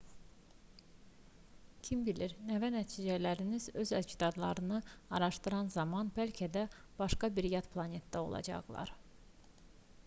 kim bilir nəvə-nəticələriniz öz əcdadlarını araşdıran zaman bəlkə də başqa bir yad planetdə olacaqlar